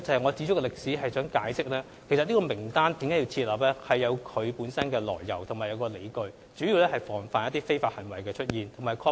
我指出歷史，是想解釋設立參考名單是有其來由及理據的，主要是防範一些非法行為的出現。